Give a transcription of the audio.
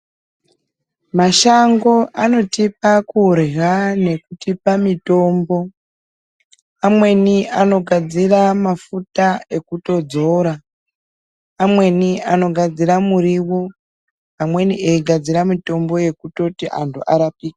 Mashango anotipa kurya nekutipa mitombo amweni anogadzira mafuta ekutodzora. Amweni anogadzira murivo, amweni eitogadzira mitombo yekutoti antu arapike.